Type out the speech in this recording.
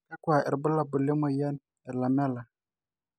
kakua irbulabol le moyian e Lamellar?